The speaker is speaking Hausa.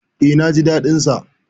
E, na ji daɗin sa.